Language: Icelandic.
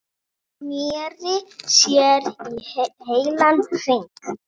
Sneri sér í heilan hring.